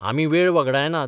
आमी वेळ वगडायनात.